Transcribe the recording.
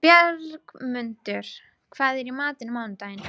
Bjargmundur, hvað er í matinn á mánudaginn?